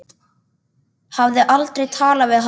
Hafði aldrei talað við hann.